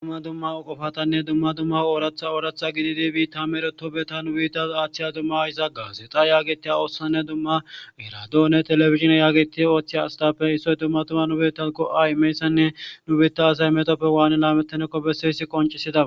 dumma dumma qofatanne dumma dumma ooratha ooratha gididi biitta meretopbeta nu biitta aaththiya dumma izaata yaagetiya oossanne dumma eradoone telebizhine yaageti ooththeya astape issoy dumma tumma nu bittawu go7a imeysanne nu biitta asay metoppe waani laamettanekko bessoyssi qoncida.